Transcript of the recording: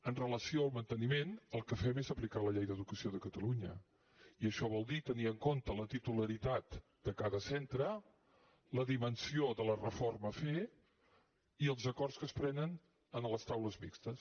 amb relació al manteniment el que fem és aplicar la llei d’educació de catalunya i això vol dir tenir en compte la titularitat de cada centre la dimensió de la reforma a fer i els acords que es prenen en les taules mixtes